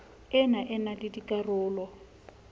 ena e na le dikarolo